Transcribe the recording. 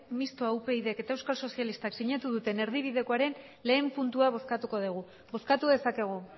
mistoa upydek eta euskal sozialista sinatu duten erdibidekoaren lehen puntua bozkatuko dugu bozkatu dezakegu